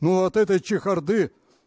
ну от этой чехарды